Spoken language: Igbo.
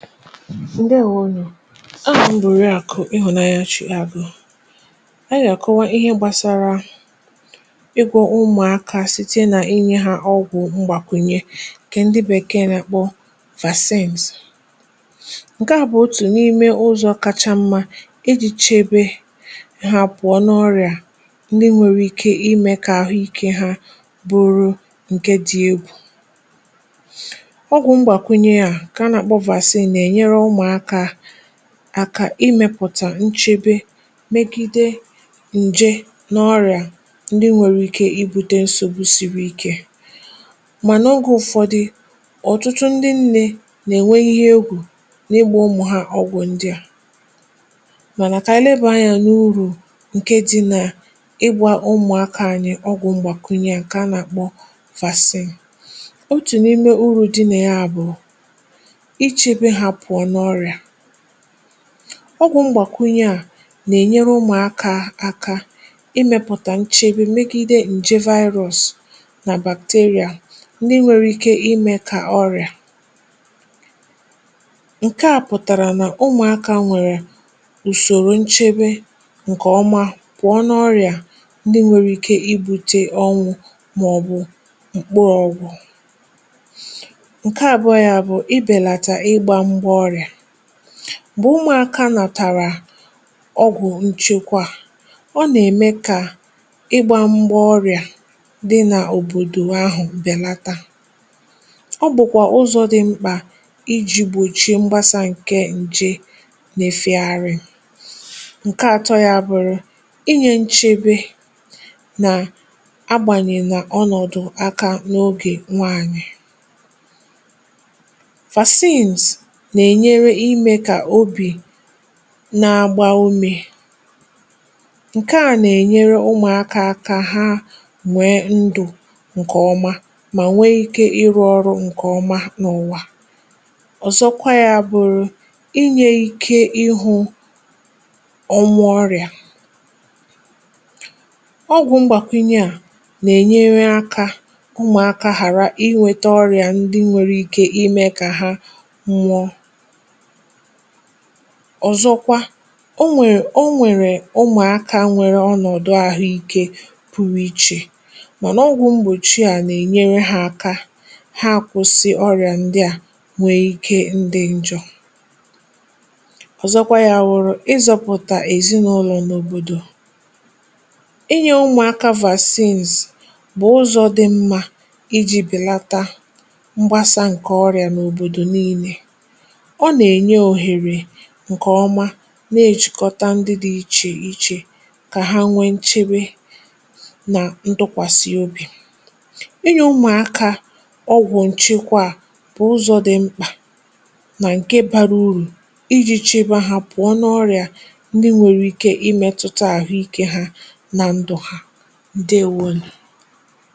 Ndewonuo, aham bu oriakụ̀ ịhụ̀nanya Chiagụ̀, ànyị gà-àkọwa ihe gbasara ịgwọ̇ umùakȧ site nà inye ha ọgwụ̀ mgbàkwùnye ǹkè ndị bèkeè nà-akpọ vaasins. Nke à bụ̀ otù n’ime ụzọ̀ kacha mma iji̇ chebe ha pụ̀ọ n’ọrịà ndị nwere ike imė kà ahụ̀ ike ha bụrụ ǹke dị egwù. Ogwụ̀ mgbàkwùnye umuàkà aka imėpụ̀tà nchebe megide ǹje nà ọrị̀à ndị nwèrè ike ibùte nsògbu siri ike, mà nà ogė ụ̀fọdụ, ọ̀tụtụ ndị ǹne nà-ènwe ihe egwù n’ịgbȧ ụmụ̀ ha ọgwụ̀ ndị à, mànà kà anyị lebàa anyȧ n’urù ǹke dị nà ịgbȧ ụmụ̀akȧ anyị ọgwụ̀ m̀gbàkụ̀nyè à ǹkè a nà-àkpọ vàasị̀n. Otu n'ime uru dị na ya bụ ichebe ha pụọ n' ọrịa. ọgwụ̀ mgbàkụnye à nà-ènyere ụmụ̀akȧ aka imėpụ̀tà nchebe megide ǹje virus nà bacteria ndị nwere ike imė kà ọrị̀à ǹke à pụ̀tàrà nà ụmụ̀akȧ nwèrè ùsòrò nchebe ǹkè ọma pụ̀ọ n’ọrị̀à ndị nwere ike ibu̇tė ọnwụ̇ màọ̀bụ̀ mkpu ọnwụ̀, nke abụọ bụ̀ ibelata ịgba mgba ọrịa, mgbe ụmụ̇aka nàtàrà ọgwụ̀ nchekwa ọ nà-ème kà ịgbȧ mgbà ọrị̀à dị n’òbòdò ahụ̀ bèlata, ọ bụ̀kwà ụzọ̇ dị mkpà iji̇ gbòchie mgbasa ǹke ǹje nà-efègharịnu. Nke àtọ ya bụ̀rụ̀ inyė nchebe nà agbànyèna ọnọ̀dụ̀ aka n’ogè nwaànyị̀, vaasins na -enyere ime ka obi na-agba umė, ǹke à nà-ènyere ụmụ̀akȧ aka ha mwèe ndụ̀ ǹkè ọma mà nwee ikė ịrụ̇ ọrụ̇ ǹkè ọma n’ụ̀wà. Ozọkwa yȧ bụ̀rụ̀ inyė ike ịhụ̇ ọmụ̇ ọrịà, ọgwụ̀ mgbàkwunye à nà-ènyere akȧ ụmụ̀akȧ hàra inwėtȧ ọrịà ndị nwere ike imė kà ha nwụọ. Ozọkwa, o nwèrè ọ nwèrè ụmụ̀akȧ nwèrè ọnọ̀dụ àhụ ikė pụ̀rụ̀ ichè, mànà ọgwụ̀ mgbòchi à nà-ènyere ha aka ha akwụ̇sị̇ ọrị̀à ndị à, nwèe ike idị ǹjọ̇, ọ̀zọkwa yȧ wụrụ, ịzọ̇pụ̀tà èzinụlọ̇ n’òbòdò, i nyė ụmụ̀akȧ vaasins bụ̀ ụzọ̇ dị mmȧ iji̇ belata mgbasa ǹkè ọrị̀à n’òbòdò niilė, ọ nà-ènye ohere nke ọma nà-ejìkọta ndị dị̇ ichè ichè kà ha nwee nchebe nà ndụkwàsị obì. inye ụmụ̀akȧ ọgwụ̀ ǹchekwa a bụ ụzọ dị mkpà nà ǹke bara urù iji chebe ha pụọ nà ọrị̀à ndị nwèrè ike imėtụta àhụ ikė ha nà ndụ̀ ha. ǹdeewonu.